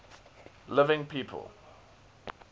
living people